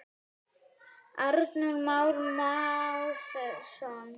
Arnór Már Másson.